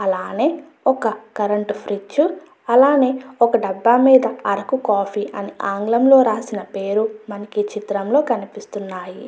అలానే ఒక current fridge అలానే ఒక డబ్బా మీద అరకు కాఫీ అని పేర్లు రాసినది మనకి ఈ చిత్రం లో కనిపిస్తున్నది.